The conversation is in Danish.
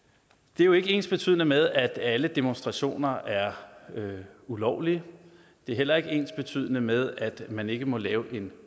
det er jo ikke ensbetydende med at alle demonstrationer er ulovlige det er heller ikke ensbetydende med at man ikke må lave en